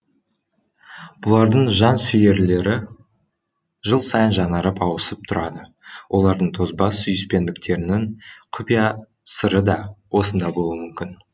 бұлардың жан сүйерлері жыл сайын жаңарып ауысып тұрады олардың тозбас сүйіспендіктерінің құпия сыры да осында болуы мүмкін